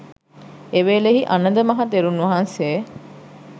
එවේලෙහි අනද මහ තෙරුන් වහන්සේ